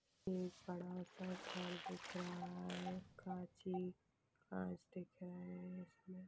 एक बड़ा सा घर दिख रहा है कांच ही कांच दिख रहे है उसमे--